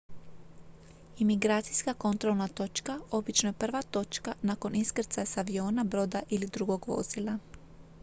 imigracijska kontrolna točka obično je prva točka nakon iskrcaja s aviona broda ili drugog vozila